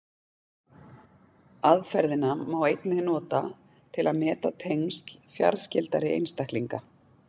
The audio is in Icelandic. Aðferðina má einnig nota til að meta tengsl fjarskyldari einstaklinga.